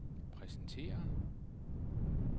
præsenterer